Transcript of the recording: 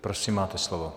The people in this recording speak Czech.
Prosím, máte slovo.